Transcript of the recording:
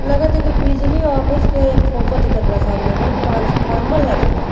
लागत की बिजली ऑफिस के फोटो दिखता बा सामने में ट्रांसफर्मा लगल बा।